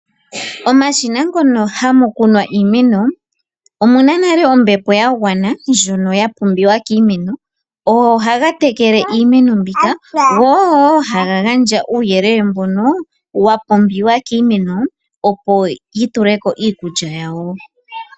Omashina mono hamu kunwa iimeno, omu na nale ombepo ya gwana, ndjono ya pumbiwa kiimeno. Ogo ohaga tekele iimeno mbika, go ogo wo haga gandja uuyelele mbono wa pumbiwa kiimeno opo yi tule ko iikulya yawo.